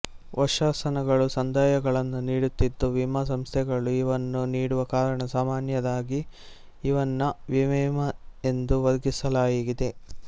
ವರ್ಷಾಶನಗಳು ಸಂದಾಯಗಳನ್ನು ನೀಡುತ್ತಿದ್ದು ವಿಮಾ ಸಂಸ್ಥೆಗಳು ಇವನ್ನು ನೀಡುವ ಕಾರಣ ಸಾಮಾನ್ಯವಾಗಿ ಇವನ್ನು ವಿಮೆಯೆಂದು ವರ್ಗೀಕರಿಸಲಾಗಿದೆ